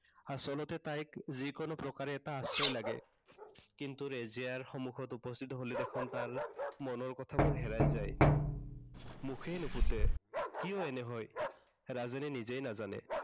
আচলতে তাইক যি কোনো প্ৰকাৰে এটা আশ্ৰয় লাগে। কিন্তু ৰেজিয়াৰ সন্মুখত উপস্থিত হলে দেখোন তাৰ, মনৰ কথাবোৰ হেৰাই যায়। মুখেই নুফুটে, কিয় এনে হয়। ৰাজেনে নিজেই নাজানে।